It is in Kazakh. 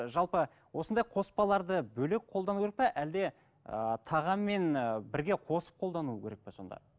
ы жалпы осындай қоспаларды бөлек қолдану керек пе әлде ііі тағаммен ііі бірге қосып қолдану керек пе сонда